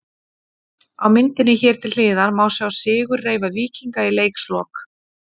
Á myndinni hér til hliðar má sjá sigurreifa Víkinga í leikslok.